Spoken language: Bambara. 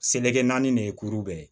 Seleke naani de ye kuru bɛɛ ye